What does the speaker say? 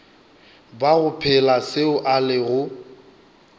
bago phela seo a lego